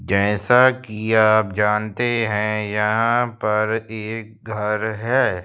जैसा कि आप जानते हैं यहां पर एक घर है।